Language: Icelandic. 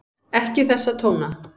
Ekki þessa tóna!